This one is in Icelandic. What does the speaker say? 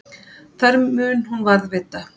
Þær mun hún varðveita.